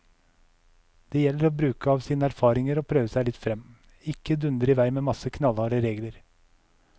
Det gjelder å bruke av sine erfaringer og prøve seg litt frem, ikke dundre i vei med en masse knallharde regler.